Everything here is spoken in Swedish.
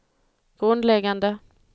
grundläggande